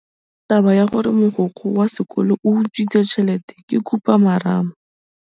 Taba ya gore mogokgo wa sekolo o utswitse tšhelete ke khupamarama.